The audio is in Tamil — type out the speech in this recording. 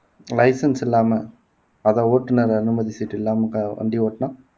license இல்லாம அத ஓட்டுநர் அனுமதி சீட்டு இல்லாம வண்டி ஓட்டுனா